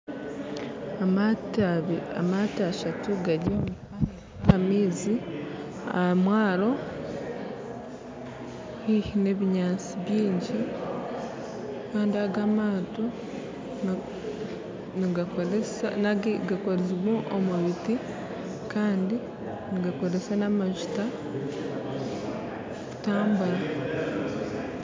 Amato ashatu gari aha maizi, aha mwaro haihi nebinyansi byingi, kandi agamato gakozirwe omubiti kandi nigakozesa namajuta kutambura.